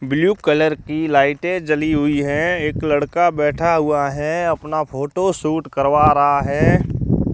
Blue colour की लाइटें जली हुई है एक लड़का बैठा हुआ है अपना फोटोशूट करवा रहा है।